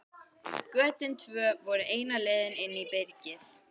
Götin tvö voru eina leiðin inn í byrgið.